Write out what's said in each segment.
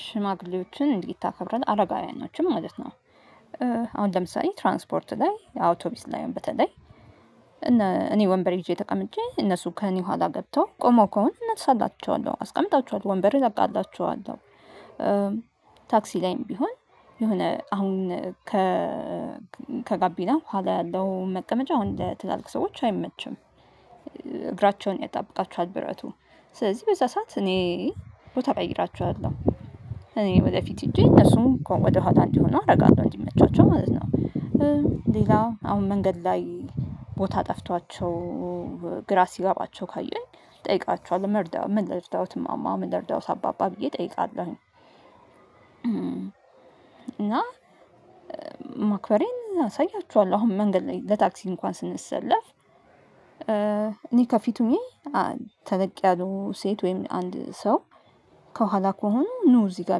ሽማግሌዎችን እንድታከብር አረጋውያኖችን ማለት ነው። አሁን ለምሳሌ ትራንስፖርት ላይ አውቶቢስ ላይ በተለይ እኔ ወንበር ሄጄ ተቀምጬ እነሱ ከእኔ ኋላ ገብተው ቆሞ ከሆነ እነሳላችኋለሁ አስቀምጣቸዋለሁ ወንበር እለቅላቸዋለው። ታክሲ ላይም ቢሆን የሆነ አሁን ከ ከጋቢና ኋላ ያለው መቀመጫ አሁን ለትላልቅ ሰዎች አይመችም። እግራቸውን ያጣብቃቸዋል ብረቱ ነው ስለዚህ በዛ ሰዓት እኔ ቦታ እቀይራቸዋለሁ። እኔ ወደፊት ሄጄ እነሱም ወደኋላ እንዲሆን አደርጋለሁ እንዲመቻቸው ማለት ነው። ሌላ አሁን መንገድ ላይ ቦታ ጠፍቷቸው ግራ ሲገባቸው ካየኝ እጠይቃቸዋለሁ ምን ልርዳውት እማማ ልርዳውት አባባ ብዬ እጠይቃለሁኝ። እና ማክበሬን አሳያችኋለሁ አሁን መንገድ ላይ ለታክሲ እንኳን ስንሰለፍ። እኔ ከፊቱን ተለቅ ያለው ሴት ወይም አንድ ሰው ከኋላ ከሆኑ ኖ እዚህ ጋር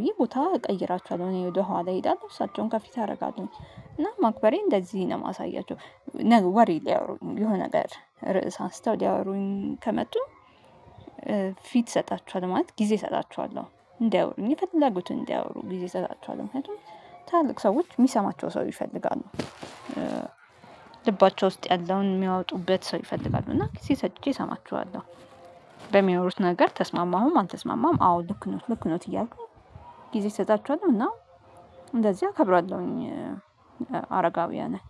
ብዬ ቦታ እቀይራቸዋለሁ እኔ ወደ ኋላ እሄዳለሁ እሳቸውን ከፊት አደርጋቸው። እና ማክበሬን እንደዚህ ነው የማሳያቸው። ለኔ ወሬ ሊያወሩኝ የሆነ ነገር ርዕስ አንስተው ሊያወሩኝ ከመጡ ፊት እሰጣችኋል ማለት ጊዜ እሰጣቸዋለሁ እንዳያወሩኝ የፈለጉትን እንዳያወሩ ጊዜ እሰጣቸዋለሁ ምክንያቱም ትልልቅ ሰዎች የሚሰማቸው ሰው ይፈልጋሉ። ልባቸው ውስጥ ያለውን የሚያወጡበት ሰው ይፈልጋሉ እና ጊዜ ሰጥቼ እሰማቸዋለሁ። በሚያወሩት ነገር ተስማማሁም አልተስማማም አዎ ልክ ነው ልክ ነው እያልኩኝ ጊዜ እሰጣቸዋለሁ እና እንደዚህ አከብራለሁኝ። አረጋውያንን